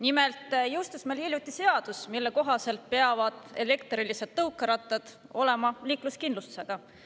Nimelt jõustus meil hiljuti seadus, mille kohaselt peavad elektrilised tõukerattad olema liikluskindlustusega.